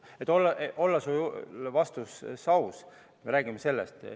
Et olla oma vastuses aus, ütlen, et me räägime sellest.